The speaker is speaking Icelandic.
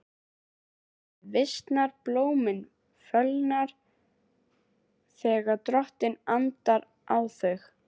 Grasið visnar, blómin fölna, þegar Drottinn andar á þau.